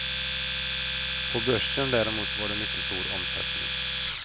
På börsen däremot var det mycket stor omsättning.